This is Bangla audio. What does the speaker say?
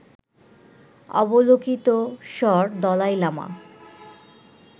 অবলোকিতেশ্বর দলাই লামা